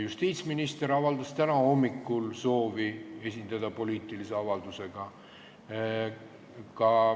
Justiitsminister avaldas täna hommikul soovi esineda poliitilise avaldusega.